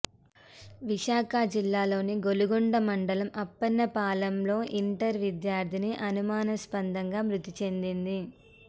విశాఖ జిల్లాలోని గొలుగొండ మండలం అప్పన్నపాలెంలో ఇంటర్ విద్యార్థిని అనుమానాస్పదంగా మృతి చెందింది